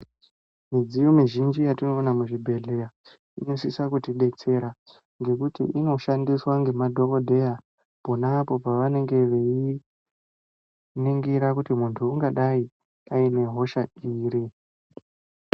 Midziyo mizhinji yatinoona muzvibhedhleya , inosisa kutidetsera, ngekuti inoshandiswa ngemadhokodheya, pona apo pavanenge veiningira kuti muntu ungadai aine hosha iri.